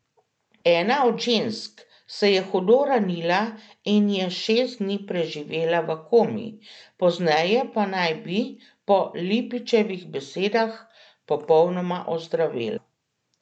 Ena od žensk se je hudo ranila in je šest dni preživela v komi, pozneje pa naj bi, po Lipičevih besedah, popolnoma ozdravela.